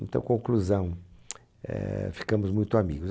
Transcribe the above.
Então, conclusão, eh, ficamos muito amigos.